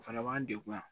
O fana b'an degun yan